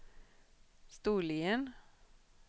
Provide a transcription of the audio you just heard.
Storlien